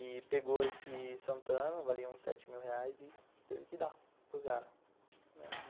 E pegou esse Santana, valia uns sete mil reais e teve que dar para o cara.